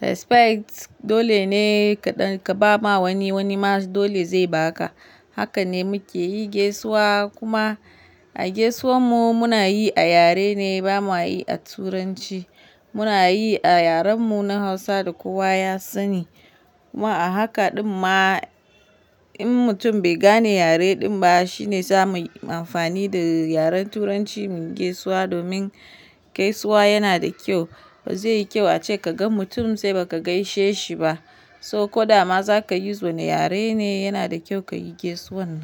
respect dole ne ka ba ma wani wani ma dole zai ba ka. Haka ne muke yi gaisuwa kuma a gaisuwan mu muna yi a yare ne ba mu yi a turanci. Muna yi a yaren mu na Hausa da kowa ya sani. Kuma a haka ɗin ma in mutum bai gane yare ɗin ba shine zamu yi amfani da yaren Turanci mu gaisuwa domin gaisuwa yana da kyau. Bazai yi kyau ace ka ga mutum sai ba ka gaishe shi ba. So ko dama za ka yi zo na yare ne yana da kyau ka yi gaisuwan.